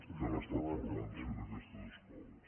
que han estat formant se en aquestes escoles